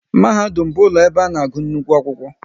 Mahadum bụ ụlọ ebe a na-agụ nnukwu akwụkwọ